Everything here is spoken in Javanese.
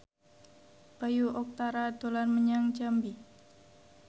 Bayu Octara dolan menyang Jambi